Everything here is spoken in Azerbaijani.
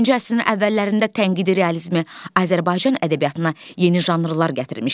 20-ci əsrin əvvəllərində tənqidi realizm Azərbaycan ədəbiyyatına yeni janrlar gətirmişdi.